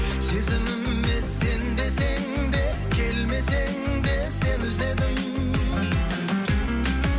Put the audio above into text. сезіміме сенбесең де келмесең де сені іздедім